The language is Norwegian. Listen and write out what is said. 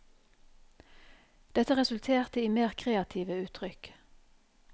Dette resulterte i mer kreative uttrykk.